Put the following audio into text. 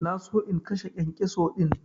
Na so in kashe kyankyaso din.